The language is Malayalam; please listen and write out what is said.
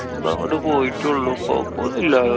ഇപ്പോ അങ്ങട് പോയിട്ടോള്ളൂ. കൊഴപ്പോന്നുല്ല്യാ.